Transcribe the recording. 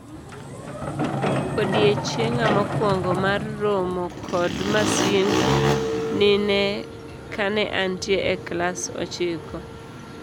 Odiechienga mokuongo mar romo kod masind nine kane antie e klas ochiko.